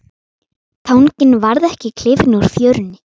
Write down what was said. Tanginn varð ekki klifinn úr fjörunni.